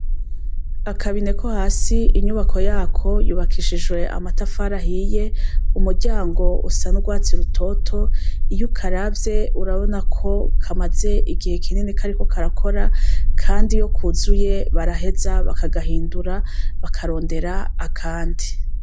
Akabine ko hasi inyubako yako yubakishijwe amatafari ahiye, umuryango usa n'urwatsi rutoto, iyo ukaravye urabona ko kamaze igihe kinini kariko karakora, kandi iyo kuzuye baraheza bakagahindura bakarondera akandi.